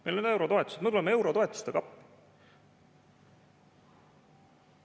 Meil on eurotoetused, me tuleme eurotoetustega appi.